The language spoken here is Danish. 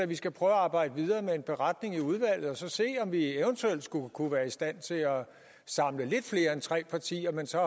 vi skal prøve at arbejde videre med en beretning i udvalget og så se om vi eventuelt kunne være i stand til at samle lidt flere end tre partier så